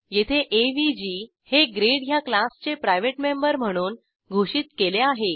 येथे एवीजी हे ग्रेड ह्या क्लासचे प्रायव्हेट मेंबर म्हणून घोषित केले आहे